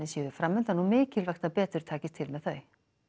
séu fram undan og mikilvægt að betur takist til með þau